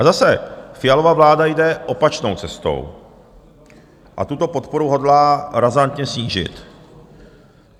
A zase Fialova vláda jde opačnou cestou a tuto podporu hodlá razantně snížit.